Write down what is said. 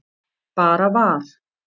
Bara var.